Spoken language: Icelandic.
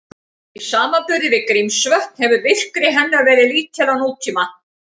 Í samanburði við Grímsvötn hefur virkni hennar verið lítil á nútíma.